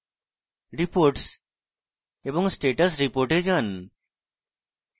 reports এবং status report এ যান